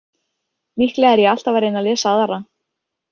Líklega er ég alltaf að reyna að lesa aðra.